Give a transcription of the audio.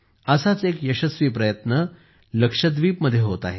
असाच एक यशस्वी प्रयत्न लक्षद्वीपमध्ये होत आहे